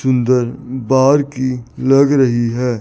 सुंदर बाहर की लग रही है।